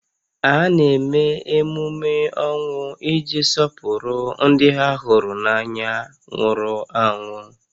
A na-eme emume ọnwụ iji sọpụrụ ndị ha hụrụ n'anya nwụrụ anwụ